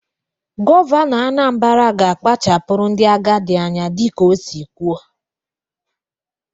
Gọvanọ Anambara ga-akpachapụrụ ndị agadị anya dị ka ọ si kwuo.